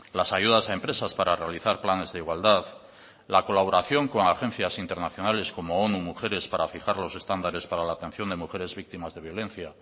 las ayudas a empresas para realizar planes de igualdad la colaboración con agencias internacionales como onu mujeres para fijar los estándares para la atención de mujeres víctimas de violencia